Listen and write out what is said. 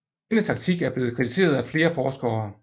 Denne taktik er blevet kritiseret af flere forskere